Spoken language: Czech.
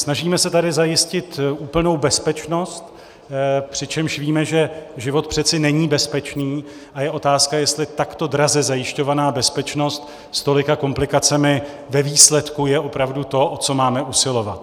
Snažíme se tady zajistit úplnou bezpečnost, přičemž víme, že život přece není bezpečný, a je otázka, jestli takto draze zajišťovaná bezpečnost s tolika komplikacemi ve výsledku je opravdu to, o co máme usilovat.